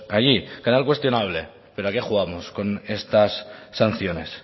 allí canal cuestionable pero a qué jugamos con estas sanciones